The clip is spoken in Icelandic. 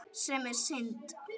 Sem er synd.